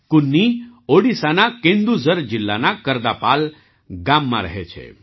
કુન્ની ઓડિશાના કેન્દુઝર જિલ્લાના કરદાપાલ ગામમાં રહે છે